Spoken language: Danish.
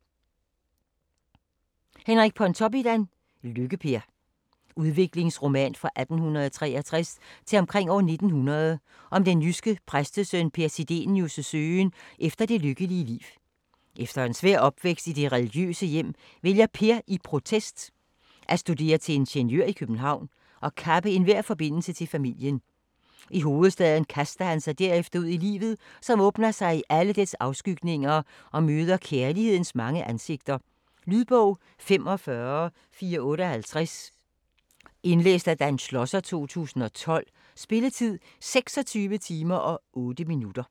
Pontoppidan, Henrik: Lykke-Per Udviklingsroman fra 1863 til omkring 1900 om den jyske præstesøn Per Sidenius' søgen efter det lykkelige liv. Efter en svær opvækst i det religiøse hjem vælger Per i protest at studere til ingeniør i København og kappe enhver forbindelse til familien. I hovedstaden kaster han sig derefter ud i livet som åbner sig i alle dets afskygninger og møder kærlighedens mange ansigter. Lydbog 45458 Indlæst af Dan Schlosser, 2012. Spilletid: 26 timer, 8 minutter.